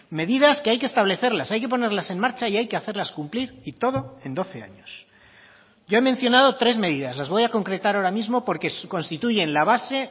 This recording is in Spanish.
medidas que hay que establecerlas hay que ponerlas en marcha y hay que hacerlas cumplir y todo en doce años yo he mencionado tres medidas las voy a concretar ahora mismo porque constituyen la base